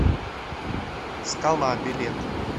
скала билет